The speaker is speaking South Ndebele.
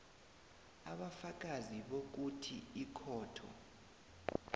ubufakazi bokuthi ikhotho